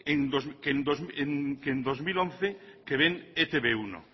que en dos mil once que ven e te be uno